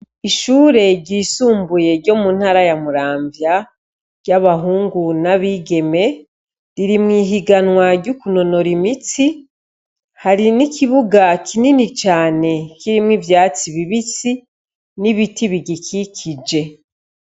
Ishure ryisumbuye ryo mu ntara ya Muramvya ry'abahungu n'abigeme, riri mw'ihiganwa ryo kunonora imitsi, hari n'ikibuga kinini cane kirimwo ivyatsi bibisi n'ibiti bigikikije.